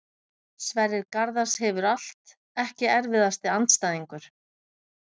Sverrir Garðars hefur allt Ekki erfiðasti andstæðingur?